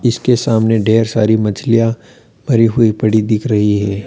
इसके सामने ढेर सारी मछलियां भरी हुई पड़ी दिख रही है।